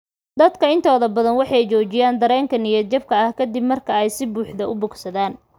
Dadka intooda badan waxay joojiyaan dareenka niyad-jabka ka dib marka ay si buuxda u bogsadaan.